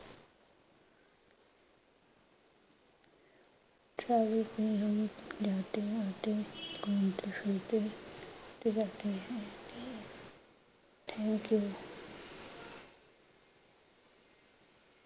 ਹਮ ਜਾਤੇ ਹੈਂ ਆਤੇ ਹੈਂ, ਘੂਮਤੇ ਫਿਰਤੇ ਹੈਂ ਹੈਂ, thankyou